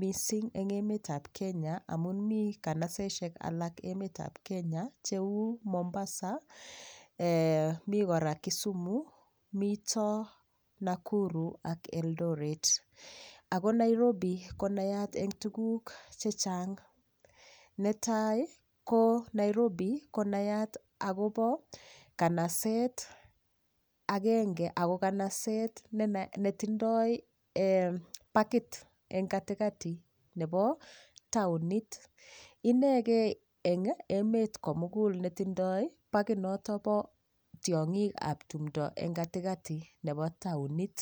mising' eng' emetab Kenya amun mi kanasesek alak emetab Kenya cheu Mombasa mi kora Kisumu mito Nakuru ak Eldoret ako Nairobi konayat eng' tuguk chechang' netai ko Nairobi konayat akobo kanaset agenge ako kanaset netindoi pakit eng' katikati nebo taonit inegei eng' emet komugul netindoi pakinoto bo tiong'ikab tumdo eng' katikati nebo taonit